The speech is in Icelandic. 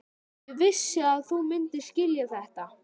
Ég vissi að þú myndir skilja þetta.